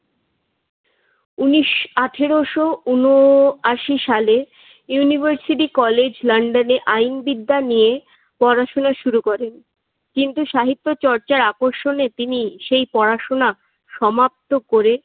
উনিশ আঠারোশ ঊনআশি সাল ইউনিভার্সিটি কলেজ লন্ডনে আইনবিদ্যা নিয়ে পড়াশোনা শুরু করেন। কিন্তু সাহিত্য চর্চার আকর্ষণে তিনি সেই পড়াশোনা সমাপ্ত করে